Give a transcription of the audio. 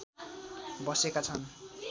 बसेका छन्